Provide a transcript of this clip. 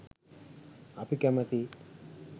අපි කැමැති